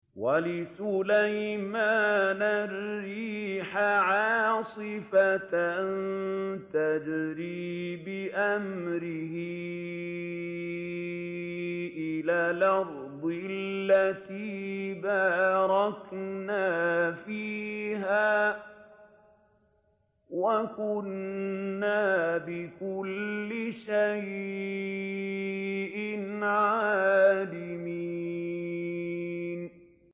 وَلِسُلَيْمَانَ الرِّيحَ عَاصِفَةً تَجْرِي بِأَمْرِهِ إِلَى الْأَرْضِ الَّتِي بَارَكْنَا فِيهَا ۚ وَكُنَّا بِكُلِّ شَيْءٍ عَالِمِينَ